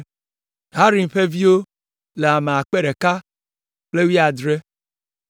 Harim ƒe viwo le ame akpe ɖeka kple wuiadre (1,017).